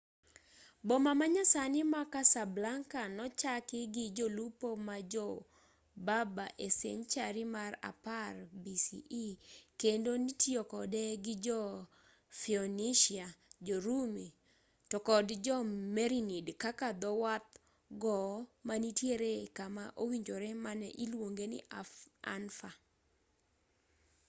boma ma nyasani ma casablanca nochaki gi jolupo ma jo berber e senchari mar 10 bce kendo nitiyo kode gi jo-pheonicia jo-rumi to kod jo-merinid kaka dho wadh gowo manitiere kama owinjore mane iluongo ni anfa